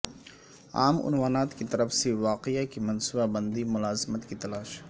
عام عنوانات کی طرف سے واقعہ کی منصوبہ بندی ملازمت کی تلاش